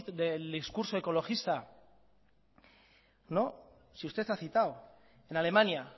del discurso ecologista no si usted ha citado en alemania